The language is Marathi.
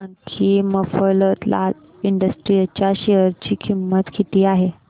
हे सांगा की मफतलाल इंडस्ट्रीज च्या शेअर ची किंमत किती आहे